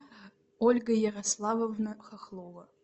ольга ярославовна хохлова